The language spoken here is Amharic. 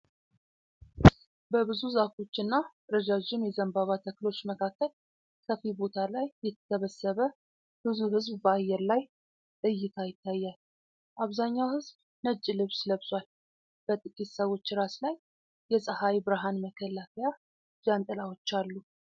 በብዙ ዛፎች እና ረዣዥም የዘንባባ ተክሎች መካከል ሰፊ ቦታ ላይ የተሰበሰበ ብዙ ሕዝብ በአየር ላይ እይታ ይታያል። አብዛኛው ሕዝብ ነጭ ልብስ ለብሷል። በጥቂት ሰዎች ራስ ላይ የፀሐይ ብርሃን መከላከያ ጃንጥላዎች አሉ።